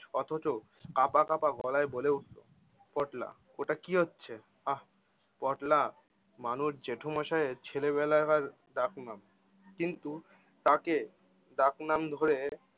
অথচ কাঁপা কাঁপা গলায় বলে উঠলো, পটলা ওটা কী হচ্ছে? আহ পটলা মানুষ জেঠোমসাইয়ের ছেলেবেলাকার ডাকনাম। কিন্তু তাঁকে ডাকনাম ধরে